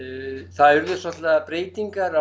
það urðu svolitlar breytingar